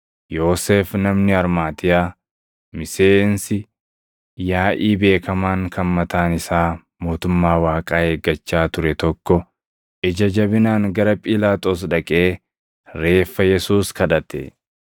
Yoosef namni Armaatiyaa, miseensi yaaʼii beekamaan kan mataan isaa mootummaa Waaqaa eeggachaa ture tokko ija jabinaan gara Phiilaaxoos dhaqee reeffa Yesuus kadhate.